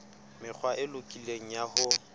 mekgwa e lokileng ya ho